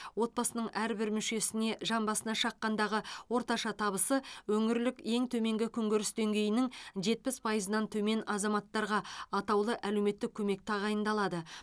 отбасының әрбір мүшесіне жан басына шаққандағы орташа табысы өңірлік ең төменгі күнкөріс деңгейінің жетпіс пайызынан төмен азаматтарға атаулы әлеуметтік көмек тағайындалады